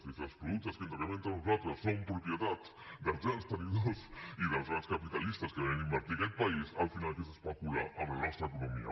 i si els productes que intercanviem entre nosaltres són propietat dels grans tenidors i dels grans capitalistes que venen a invertir a aquest país al final el que és és especular amb la nostra economia